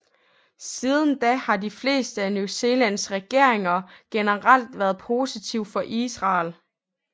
Siden da har de fleste af New Zealands regeringer generelt været positive for Israel